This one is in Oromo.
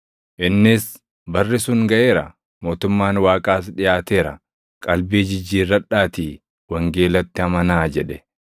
Innis, “Barri sun gaʼeera; mootummaan Waaqaas dhiʼaateera; qalbii jijjiirradhaatii wangeelatti amanaa!” jedhe.